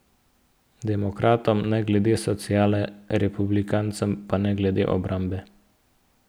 Demokratom ne glede sociale, republikancem pa ne glede obrambe.